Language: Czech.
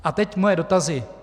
A teď moje dotazy.